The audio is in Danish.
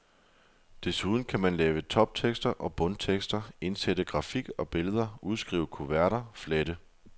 Desuden kan man lave toptekster og bundtekster, indsætte grafik og billeder, udskrive kuverter, flette.